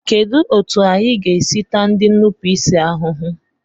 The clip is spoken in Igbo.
Kedụ etu anyị ga-esi taa ndị nnupụisi ahụhụ?